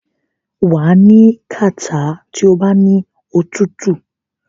wà á ní kàtá tí o bá ní òtútù.